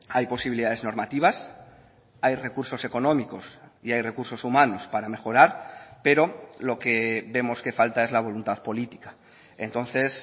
hay posibilidades normativas hay recursos económicos y hay recursos humanos para mejorar pero lo que vemos que falta es la voluntad política entonces